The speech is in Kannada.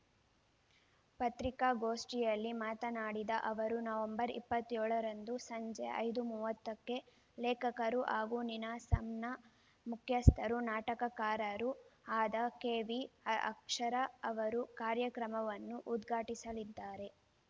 ಪತ್ರಿಕಾಗೋಷ್ಠಿಯಲ್ಲಿ ಮಾತನಾಡಿದ ಅವರು ನವೆಂಬರ್ ಇಪ್ಪತ್ಯೋಳರಂದು ಸಂಜೆ ಐದು ಮೂವತ್ತಕ್ಕೆ ಲೇಖಕರು ಹಾಗೂ ನೀನಾಸಂನ ಮುಖ್ಯಸ್ಥರು ನಾಟಕಕಾರರೂ ಆದ ಕೆವಿ ಅಕ್ಷರ ಅವರು ಕಾರ್ಯಕ್ರಮವನ್ನು ಉದ್ಘಾಟಿಸಲಿದ್ದಾರೆ